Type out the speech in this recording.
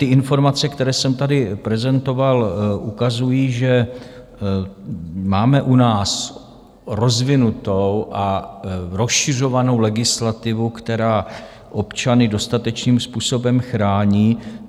Ty informace, které jsem tady prezentoval, ukazují, že máme u nás rozvinutou a rozšiřovanou legislativu, která občany dostatečným způsobem chrání.